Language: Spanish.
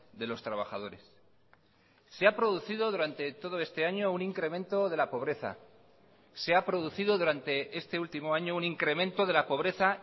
de los trabajadores se ha producido durante todo este año un incremento de la pobreza se ha producido durante este último año un incremento de la pobreza